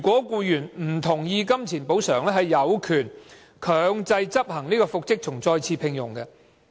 僱員若不同意僱主以金錢作補償，他有權強制執行復職或再次聘用令。